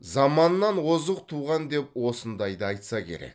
заманынан озық туған деп осындайда айтса керек